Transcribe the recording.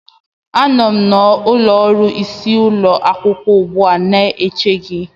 Anọ m n'ụlọ ọrụ isi ụlọ akwụkwọ ugbu a na-eche gị